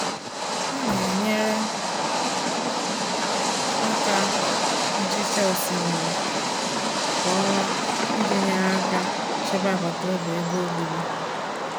Ọ na-enyere aka na nhicha osimiri kwa ọnwa iji nyere aka chebe agbataobi ebe obibi.